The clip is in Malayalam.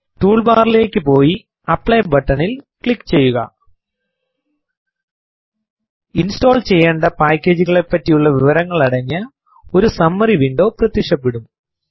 ടൂൾ ബാറിലേക്ക് പോയി ആപ്ലി ബട്ടനിൽ ക്ലിക്ക് ചെയ്യുക ഇൻസ്റ്റോൾ ചെയ്യേണ്ട പാക്കേജ്കളെപ്പറ്റിയുള്ള വിവരങ്ങൾ അടങ്ങിയ ഒരു സമ്മറി വിൻഡോ പ്രത്യക്ഷപെടും